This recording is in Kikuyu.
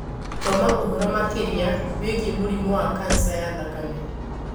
Thoma ũhoro makĩria wĩgiĩ mũrimũ wa kanja ya thakame